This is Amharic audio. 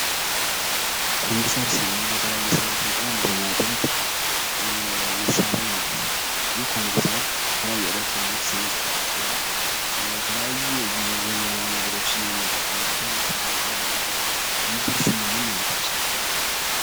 ኮምፒዩተር ስንል የተለያዩ ስራዎችን ቀለል የሚያደርግ መሳሪያ ነው። ይህ ኮምፒውተር ከተለያዩ የኤሌክትሪንግ የሚሰራ ሲሆን የተለያየ ጊዜ ዘመናዊ ነገሮችን የምንጠቀምበት ስራን ቀለል የሚያደርግ ነው። ኮምፒዩተር ስንል ምን ማለታችን ነው?